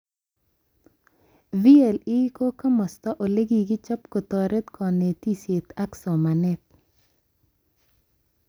VLE ko kamasta olekikichob kotoret konetishet ak somanet